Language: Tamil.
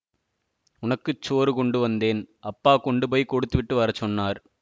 உனக்கு சோறு கொண்டு வந்தேன் அப்பா கொண்டு போய் கொடுத்துவிட்டு வர சொன்னார்